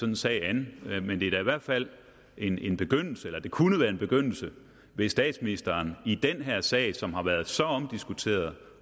en sag an men det er da i hvert fald en en begyndelse eller det kunne være en begyndelse hvis statsministeren i den her sag som har været så omdiskuteret